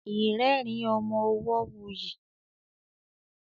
irerin ọmọ ọwo wuyi.